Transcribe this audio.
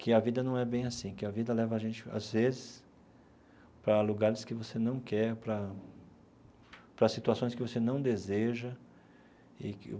que a vida não é bem assim, que a vida leva a gente, às vezes, para lugares que você não quer, para para situações que você não deseja e que.